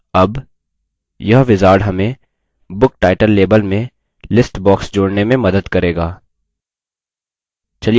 अब यह wizard हमें book title label में list box जोड़ने में मदद करेगा